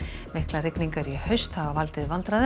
miklar rigingar í haust hafa